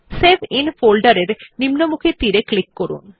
save in ফোল্ডের এর নিম্নমুখী তীর ক্লিক করুন